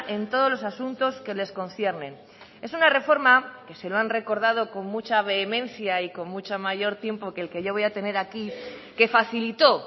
en todos los asuntos que les conciernen es una reforma que se lo han recordado con mucha vehemencia y con mucho mayor tiempo que el que yo voy a tener aquí que facilitó